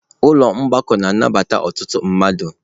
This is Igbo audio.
Ụlọ mgbakọ na-anabata ọtụtụ mmadụ.